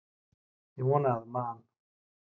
Ég vona að Man.